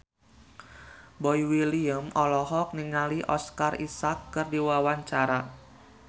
Boy William olohok ningali Oscar Isaac keur diwawancara